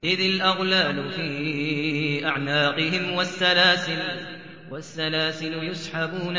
إِذِ الْأَغْلَالُ فِي أَعْنَاقِهِمْ وَالسَّلَاسِلُ يُسْحَبُونَ